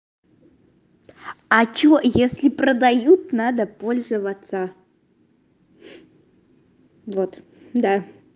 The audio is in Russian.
а что если продают надо пользоваться вот да